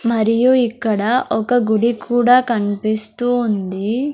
మరియు ఇక్కడ ఒక గుడి కూడా కన్పిస్తూ ఉంది.